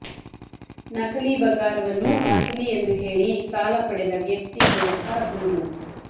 ನಕಲಿ ಬಂಗಾರವನ್ನು ಅಸಲಿ ಎಂದು ಹೇಳಿ ಸಾಲ ಪಡೆದ ವ್ಯಕ್ತಿ ವಿರುದ್ಧ ದೂರು